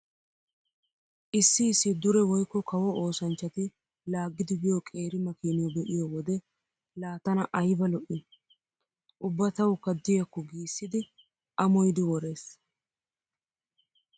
Issi issi dure woykko kawo oosanchchati laaggidi biyo qeeri makiiniyo be'iyo wode laa tana ayba lo'ii? Ubba tawukka diykko giissidi amoyidi worees.